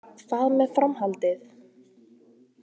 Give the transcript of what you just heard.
Hvað með framhaldið?